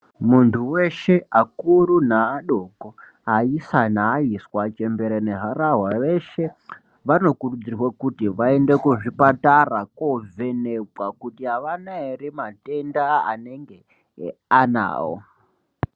Muntu weshe akuru neadoko, aisa nevaiswa veshe, harahwa nechembere, vanokurudzirwa kuti vaende kuchipatara kovhenekwa kuti avane here matenda anenge anawo.